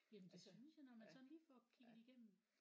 Jamen det synes jeg når man sådan lige får kigget igennem